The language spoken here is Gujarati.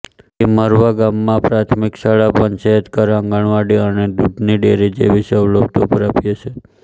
ટિમરવા ગામમાં પ્રાથમિક શાળા પંચાયતઘર આંગણવાડી અને દૂધની ડેરી જેવી સવલતો પ્રાપ્ય છે